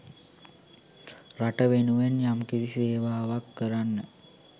රට වෙනුවෙන් යම්කිසි සේවාවක් කරන්න